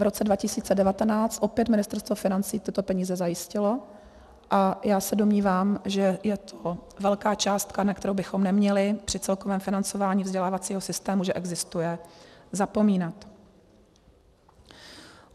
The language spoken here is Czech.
V roce 2019 opět Ministerstvo financí tyto peníze zajistilo a já se domnívám, že je to velká částka, na kterou bychom neměli při celkovém financování vzdělávacího systému, že existuje, zapomínat.